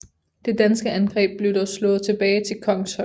Det danske angreb blev dog slået tilbage til Kongshøj